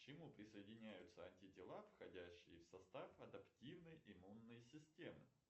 к чему присоединяются антитела входящие в состав адаптивной имунной системы